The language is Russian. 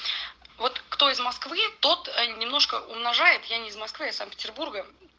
вот кто из москвы тот немножко умножает я не из москвы из санкт-петербурга